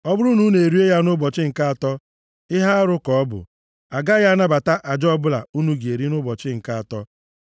Ọ bụrụ na unu erie ya nʼụbọchị nke atọ ihe arụ ka ọ bụ. A gaghị anabata aja ọbụla unu ga-eri nʼụbọchị nke atọ.